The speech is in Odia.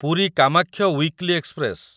Puri Kamakhya weekly express